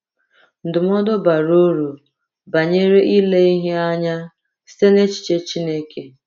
Ndụmọdụ bara uru banyere ile ihe anya site n’echiche Chineke